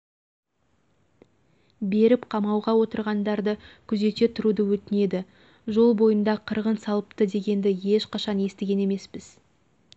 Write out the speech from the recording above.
беріп қамауда отырғандарды күзете тұруды өтінеді жол бойында қырғын салыпты дегенді ешқашан естіген емеспіз